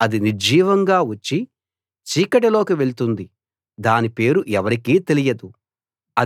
అది నిర్జీవంగా వచ్చి చీకటి లోకి వెళుతుంది దాని పేరు ఎవరికీ తెలియదు